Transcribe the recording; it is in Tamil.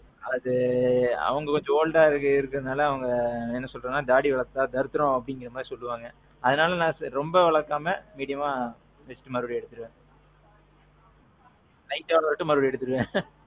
அது அவங்க கொஞ்சம் oldஅ இருக்குற நால என்ன சொல்றாங்கன்னா தாடி வளத்தா தரித்திரம் அப்பிடீங்குற மாறி சொல்லுவாங்க. அதனால நான் ரொம்ப வழக்காம, mediumஆ மறுபடியும் எடுத்துட்டு. light அ வந்ததும் மறுபடியும் எடுத்துருவேன்.